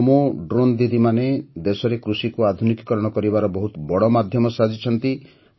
ନମୋ drone ଦିଦିମାନେ ଦେଶରେ କୃଷିକୁ ଆଧୁନିକୀକରଣ କରିବାର ବହୁତ ବଡ଼ ମାଧ୍ୟମ ସାଜିଛନ୍ତି